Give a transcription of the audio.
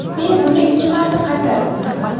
Men buni ikki marta qaytaribman.